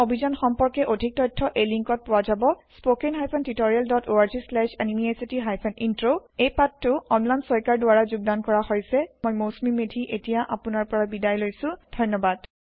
এই অভিযান সম্পৰ্কে অধিক তথ্য এই লিংকত পোৱা যাব spoken hyphen tutorial dot org slash এনএমইআইচিত হাইফেন ইন্ট্ৰ এই পাঠটো অম্লান শইকিয়াৰ দ্ৱাৰা যোগদান কৰা হৈছে মই মৌচুমী মেধী এতিয়া আপোনাৰ পৰা বিদায় লৈছো ধন্যবাদ